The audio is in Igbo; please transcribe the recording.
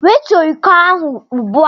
Wetuo iko ahụ ugbu a!